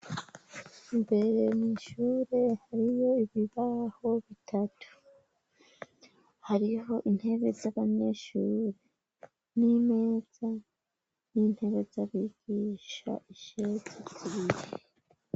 Mbere nishure hariyo ibibaho bitatu hariho intebe z'abanyeshure n'imeza n'intebe z'abigisha ishezi zite.